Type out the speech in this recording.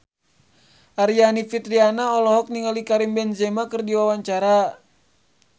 Aryani Fitriana olohok ningali Karim Benzema keur diwawancara